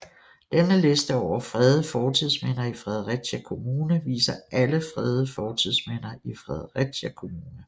Denne liste over fredede fortidsminder i Fredericia Kommune viser alle fredede fortidsminder i Fredericia Kommune